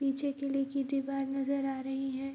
पीछे किले की दिवार नज़र आ रही है।